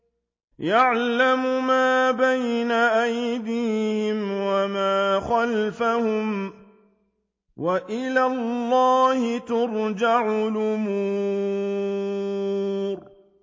يَعْلَمُ مَا بَيْنَ أَيْدِيهِمْ وَمَا خَلْفَهُمْ ۗ وَإِلَى اللَّهِ تُرْجَعُ الْأُمُورُ